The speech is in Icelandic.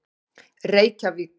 Reykjavík